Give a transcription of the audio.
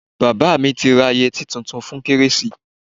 Bàbá mi ti ra yẹtí tuntun fún kérésì.